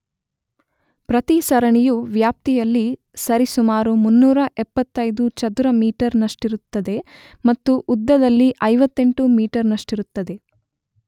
ಪ್ರತಿ ಸರಣಿಯು ವ್ಯಾಪ್ತಿಯಲ್ಲಿ ಸರಿಸುಮಾರು 375 ಚದುರ ಮೀಟರ್ ನಷ್ಟಿರುತ್ತದೆ ಮತ್ತು ಉದ್ದದಲ್ಲಿ 58 ಮೀಟರ್ ನಷ್ಟಿರುತ್ತದೆ.